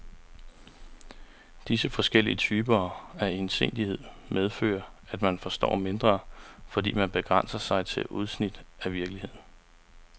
Disse forskellige typer af ensidighed medfører, at man forstår mindre, fordi man begrænser sig til udsnit af virkeligheden.